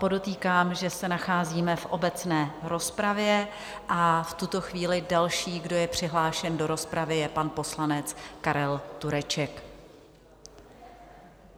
Podotýkám, že se nacházíme v obecné rozpravě, a v tuto chvíli další, kdo je přihlášen do rozpravy, je pan poslanec Karel Tureček.